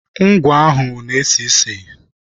Ngwọ ahụ na-esi ísì.